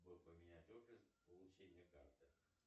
поменять офис получения карты